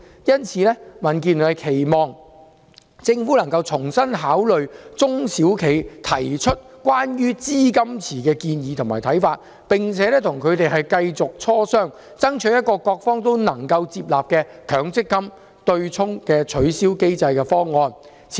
因此，民建聯期望政府重新考慮中小企提出有關資金池的建議和看法，並且繼續與中小企磋商，以求得出各方均能接納的取消強積金對沖機制方案。